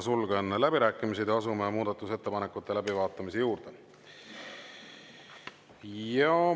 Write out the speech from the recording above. Sulgen läbirääkimised ja asume muudatusettepanekute läbivaatamise juurde.